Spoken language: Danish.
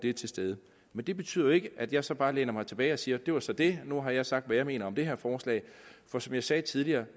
er til stede men det betyder jo ikke at jeg så bare læner mig tilbage og siger det var så det nu har jeg sagt hvad jeg mener om det her forslag for som jeg sagde tidligere